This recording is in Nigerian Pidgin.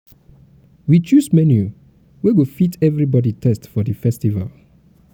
we choose menu wey go fit everybody taste for di festival.